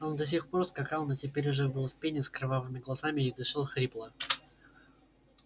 он до сих пор скакал но теперь уже был в пене с кровавыми глазами и дышал хрипло